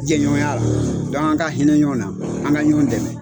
Jɛɲɔgɔnya la an ka hinɛ ɲɔgɔn na an ka ɲɔgɔn dɛmɛ.